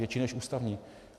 Větší než ústavní.